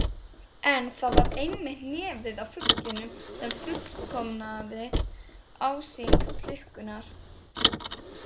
En það var einmitt nefið á fuglinum sem fullkomnaði ásýnd klukkunnar.